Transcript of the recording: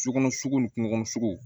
Sokɔnɔ sugu ni kungo kɔnɔ sugu